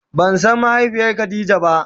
Ba san mahaifiyar khadija ba.